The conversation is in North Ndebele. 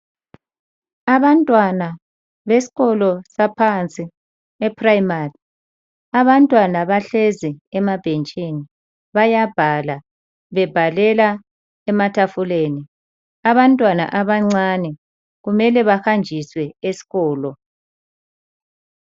Abantwana besikolo saphansi eprimary, abantwana bahlezi emabhentshini bayabhala bebhalela ematafuleni. Abantwana abancane kumele bahanjiswe eskolo.